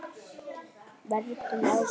Verndun afkvæma